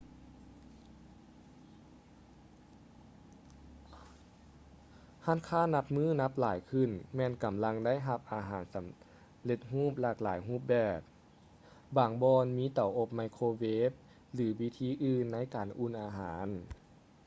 ຮ້ານຄ້ານັບມື້ນັບຫຼາຍຂຶ້ນແມ່ນກຳລັງໄດ້ຮັບອາຫານສໍາເລັດຮູບຫຼາກຫຼາຍຮູບແບບ ບາງບ່ອນມີເຕົາອົບໄມໂຄເວຟ ຫຼື ວິທີອື່ນໃນການອຸ່ນອາຫານ